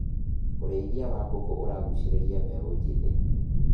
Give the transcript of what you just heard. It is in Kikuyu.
ũrĩithia wa mbũkũ ũragucĩrĩria mbeũ njĩthi.